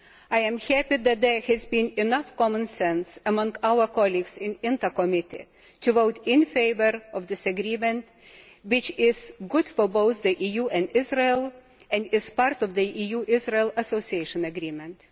I am happy that there has been enough common sense among our colleagues in the INTA Committee to vote in favour of this agreement, which is good for both the EU and Israel and is part of the EU Association Agreement.